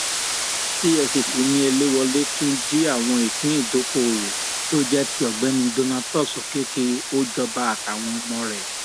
efcc ni eléwolé tún jí àwọn ìpín ìdókoòwò tó jẹ ti ọgbẹni donatus òkèkè ọjọba àtàwọn ọmọ rẹ